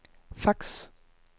fax